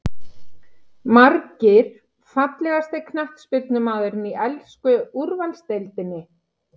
Margir Fallegasti knattspyrnumaðurinn í ensku úrvalsdeildinni?